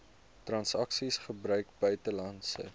transaksies gebruik buitelandse